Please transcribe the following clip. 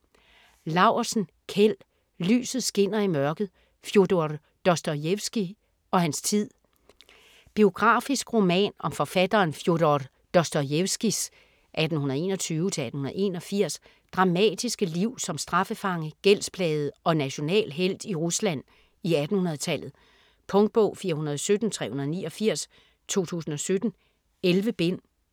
Laursen, Kjeld: Lyset skinner i mørket: Fjodor Dostojevskij og hans tid Biografisk roman om forfatteren Fjodor Dostojevskijs (1821-1881) dramatiske liv som straffefange, gældsplaget og national helt i Rusland i 1800-tallet. Punktbog 417389 2017. 11 bind.